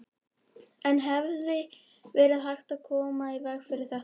En hefði verið hægt að koma í veg fyrir þetta?